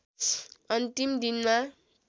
अन्तिम दिनमा